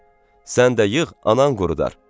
Sən də yığ, anan qurudar.